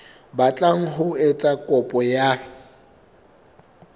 batlang ho etsa kopo ya